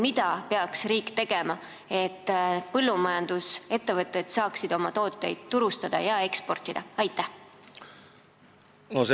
Mida peaks riik tegema, et põllumajandusettevõtted saaksid oma tooteid turustada ja eksportida?